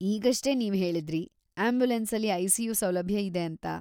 ಈಗಷ್ಟೇ ನೀವ್ಹೇಳಿದ್ರಿ, ಆಂಬ್ಯುಲೆನ್ಸಲ್ಲಿ ಐ.ಸಿ.ಯು. ಸೌಲಭ್ಯ ಇದೆ ಅಂತ.